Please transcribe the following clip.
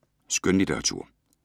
Skønlitteratur